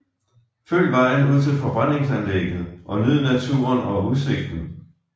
Følg vejen ud til forbrændingsanlægget og nyd naturen og udsigten